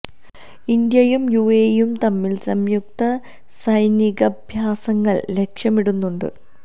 ഇന്ത്യയും യു എ ഇയും തമ്മില് സയുക്ത സൈനികാഭ്യാസങ്ങള് ലക്ഷ്യമിടുന്നുണ്ട്